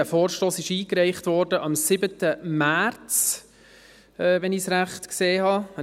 Dieser Vorstoss wurde am 7. März eingereicht, wenn ich dies richtig gesehen habe.